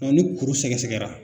Ni kuru sɛgɛsɛgɛra.